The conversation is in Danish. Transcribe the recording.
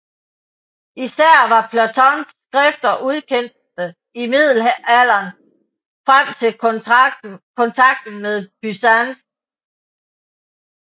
Især var Platons skrifter ukendte i Middelalderen frem til kontakten med Byzans